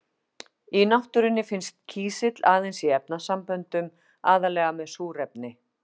Í náttúrunni finnst kísill aðeins í efnasamböndum, aðallega með súrefni.